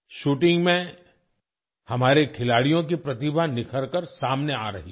shooting में हमारे खिलाड़ियों की प्रतिभा निखरकर सामने आ रही है